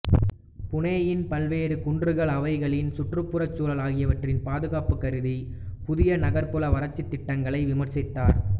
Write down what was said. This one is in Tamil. புனேயின் பல்வேறு குன்றுகள் அவைகளின் சுற்றுப்புறச்சூழல் ஆகியவற்றின் பாதுகாப்பு கருதி புதிய நகர்புற வளர்ச்சித்திட்டங்களை விமர்சித்தார்